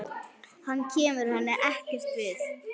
Hann kemur henni ekkert við.